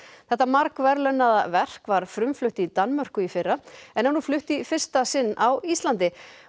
þetta margverðlaunaða verk var frumflutt í Danmörku í fyrra en er nú flutt í fyrsta sinn á Íslandi